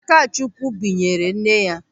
Akachukwu binyere nne ya.